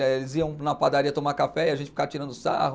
Eh eles iam na padaria tomar café e a gente ficava tirando sarro.